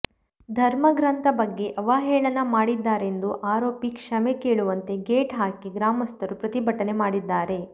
ಧರ್ಮ ಗ್ರಂಥ ಬಗ್ಗೆ ಅವಹೇಳನ ಮಾಡಿದ್ದಾರೆಂದು ಆರೋಪಿಸಿ ಕ್ಷಮೆ ಕೇಳುವಂತೆ ಗೇಟ್ ಹಾಕಿ ಗ್ರಾಮಸ್ಥರು ಪ್ರತಿಭಟನೆ ಮಾಡಿದ್ದಾರೆ